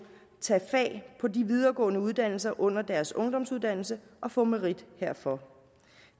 tage fag på de videregående uddannelser under deres ungdomsuddannelse og få merit herfor